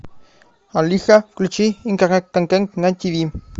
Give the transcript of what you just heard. алиса включи интернет контент на тв